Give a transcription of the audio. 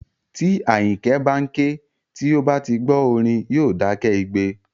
Tí Àyìnkẹ́ bá ń ké, tí ó bá ti gbọ́ orin, yóò dákẹ́ igbe